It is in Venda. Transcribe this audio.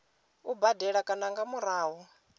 u badela kana nga murahu